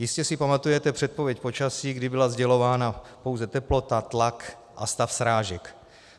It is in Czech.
Jistě si pamatujete předpověď počasí, kdy byla sdělována pouze teplota, tlak a stav srážek.